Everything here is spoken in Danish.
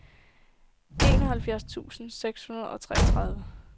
enoghalvfjerds tusind seks hundrede og treogtredive